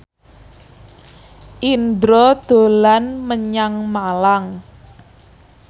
Indro dolan menyang Malang